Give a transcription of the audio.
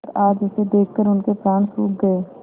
पर आज उसे देखकर उनके प्राण सूख गये